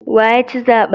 Wa ya ci zaben?